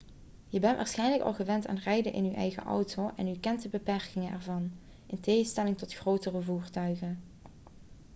je bent waarschijnlijk al gewend aan rijden in uw eigen auto en u kent de beperkingen ervan in tegenstelling tot grotere voertuigen